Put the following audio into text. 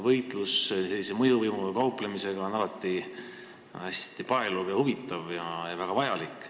Võitlus mõjuvõimuga kauplemisega on alati hästi paeluv, huvitav ja väga vajalik.